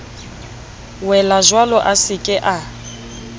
welajwalo a se ke a